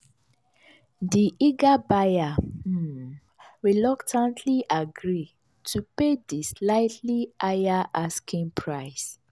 di eager buyer um reluctantly agri to pay di slightly higher asking price.